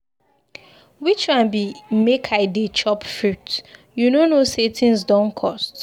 Which one be make I dey chop fruit, you no know say things don cost.